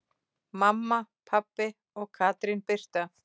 Mamma, pabbi og Katrín Birta.